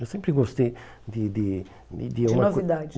Eu sempre gostei de de de uma co... De novidades.